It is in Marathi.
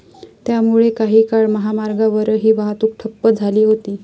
त्यामुळे काही काळ महामार्गावरची वाहतूक ठप्प झाली होती.